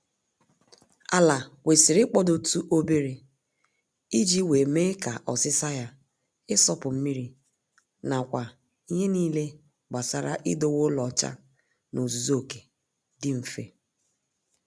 Ala kwesịrị ịkpọdotụ obere iji wee mee ka ọsịsa ya, ịsọpụ mmiri na nakwa ihe niile gbasara idowe ụlọ ọcha n'ozuzu oke, dị mfe